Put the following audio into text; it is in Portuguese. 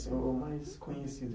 Qual foi o mais conhecido?